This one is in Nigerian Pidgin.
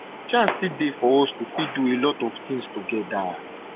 chance still dey for us to fit do a lot of tins togeda